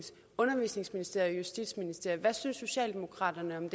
og justitsministeriet justitsministeriet hvad synes socialdemokraterne om